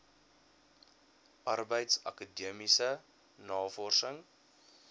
arbeids akademiese navorsings